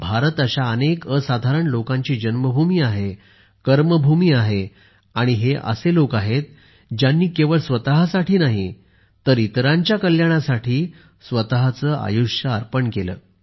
भारत अशा अनेक असाधारण लोकांची जन्मभूमी आहे कर्मभूमी आहे आणि हे असे लोक आहेत ज्यांनी केवळ स्वतःसाठी नाही तर इतरांच्या कल्याणासाठी स्वतःचे आयुष्य अर्पण केले